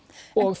og